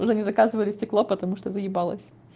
уже не заказывали стекло потому что уже заебалась